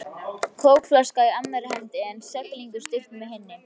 Kókflaska í annarri hendi en seglinu stýrt með hinni.